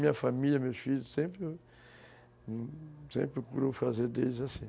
Minha família, meus filhos, sempre, sempre procuram fazer deles assim.